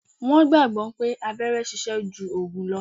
Wọn gbagbọ pé abẹ́rẹ́ sise ju ògùn lo